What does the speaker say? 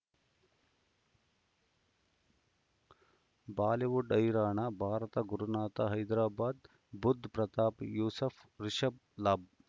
Bollywood ಹೈರಾಣ ಭಾರತ ಗುರುನಾಥ ಹೈದರಾಬಾದ್ ಬುಧ್ ಪ್ರತಾಪ್ ಯೂಸುಫ್ ರಿಷಬ್ ಲಾಭ್